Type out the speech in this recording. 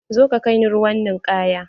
Zo ka kai ni ruwan ninkaya!